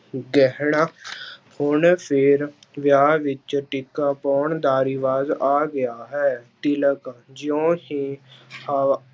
ਗਹਿਣਾ ਹੁਣ ਫਿਰ ਵਿਆਹ ਵਿੱਚ ਟਿੱਕਾ ਪਾਉਣ ਦਾ ਰਿਵਾਜ ਆ ਗਿਆ ਹੈ, ਤਿਲਕ ਜਿਉਂ ਹੀ ਹ~